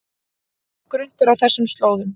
Mjög grunnt er á þessum slóðum